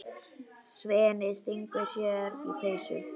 Svenni stingur sér í peysu.